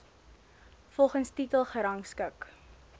volgens titel gerangskik